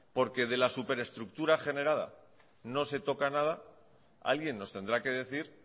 porque de la superestructura generada no se toca nada alguien nos tendrá que decir